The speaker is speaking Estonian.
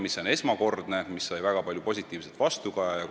See oli esmakordne ja sai väga palju positiivset vastukaja.